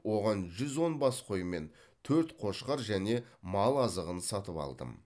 оған жүз он бас қой мен төрт қошқар және мал азығын сатып алдым